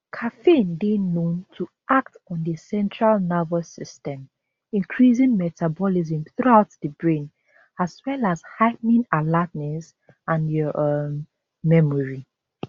caffeine dey known to act on di central nervous system increasing metabolism throughout di brain as well as heigh ten ing alertness and your um memory